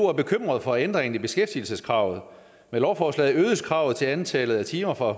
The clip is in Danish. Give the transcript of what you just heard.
er bekymrede for ændringen i beskæftigelseskravet for med lovforslaget øges kravet til antallet af timer fra